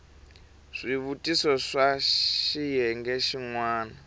swivutiso swa xiyenge xin wana